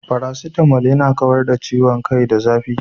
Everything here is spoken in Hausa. Faracetamal yana kawar da ciwon kai da zafi.